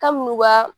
Kabini u ka